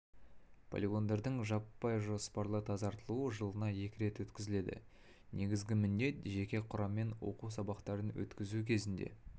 полигондардың жаппай жоспарлы тазартылуы жылына екі рет өткізіледі негізгі міндет жеке құраммен оқу сабақтарын өткізу кезінде